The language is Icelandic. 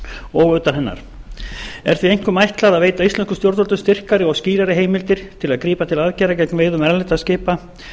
og utan hennar er því einkum ætlað að veita íslenskum stjórnvöldum styrkari og skýrari heimildir til að grípa til aðgerða gegn veiðum erlendra skipa